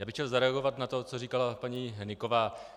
Já bych chtěl zareagovat na to, co říkala paní Hnyková.